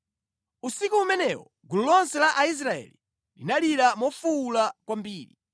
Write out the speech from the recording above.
Usiku umenewo gulu lonse la Aisraeli linalira mofuwula kwambiri.